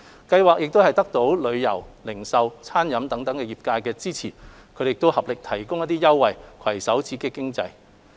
計劃得到旅遊、零售及餐飲等業界支持，他們合力提供一些優惠，攜手刺激經濟。